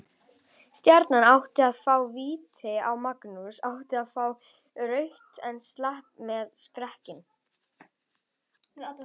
Stjarnan átti að fá víti og Magnús átti að fá rautt en slapp með skrekkinn.